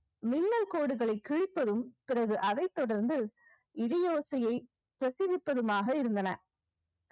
மின்னல் கோடுகளை கிழிப்பதும் பிறகு அதைத் தொடர்ந்து இடியோசையை பிரசவிப்பதுமாக இருந்தன